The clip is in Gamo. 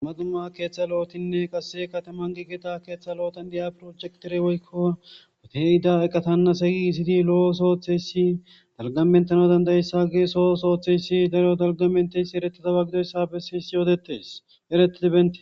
dumma dumma keeththa lo7otinne qasse kataman giigeta keeththa lo7otan diya projektere woykko woteyida eqatanna segi isidi lo7o sootheyssi dalgamentana dandayssa gee soo sooththeyssi dalo dalgamenteyssi eretitaba gidoyssa bessens yoodetes eretiti bente.